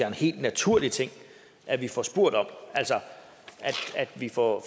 en helt naturlig ting at vi får spurgt om altså at vi får